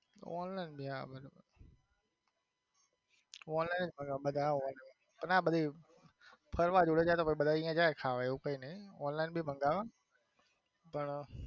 online online કરે બધા અને આ બધી ફરવા જોડે જાય બધા અહીંયા જાય ખાવા એવું કઈ નઈ online બી મંગાવે પણ.